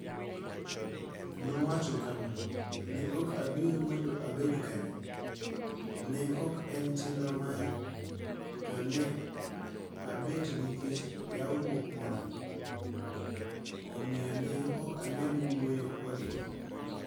Nowacho kama: "Ne ok abiro mondo abed kanyo, ne ok en chenro mara, to ne abet nikech ywaruok moro, omiyo ne ok anyal wuoyo kodgi. "